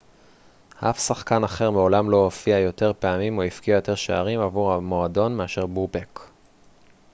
אף שחקן אחר מעולם לא הופיע יותר פעמים או הבקיע יותר שערים עבור המועדון מאשר בובק